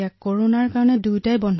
কিন্তু এতিয়া বন্ধ বৈ পৰিছে